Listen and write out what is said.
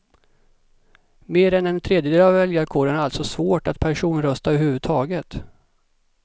Mer än en tredjedel av väljarkåren har alltså svårt att personrösta överhuvudtaget.